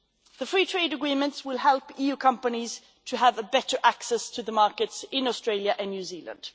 The free trade agreements will help EU companies to have better access to the markets in Australia and New Zealand.